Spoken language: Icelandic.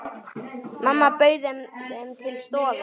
Mamma bauð þeim til stofu.